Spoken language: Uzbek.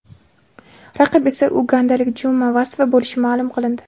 Raqib esa ugandalik Juma Vasva bo‘lishi ma’lum qilindi .